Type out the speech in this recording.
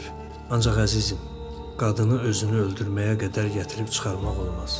ancaq əzizim, qadını özünü öldürməyə qədər gətirib çıxarmaq olmaz.